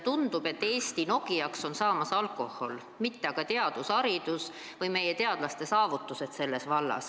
Tundub, et Eesti Nokiaks on saamas alkohol, mitte haridus või teadus, meie teadlaste saavutused.